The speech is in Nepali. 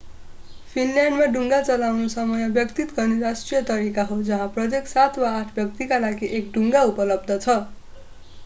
फिनल्यान्डमा डुङ्गा चलाउनु समय व्यतीत गर्ने राष्ट्रिय तरिका हो जहाँ प्रत्येक सात वा आठ व्यक्तिका लागि एक डुङ्गा उपलब्ध छ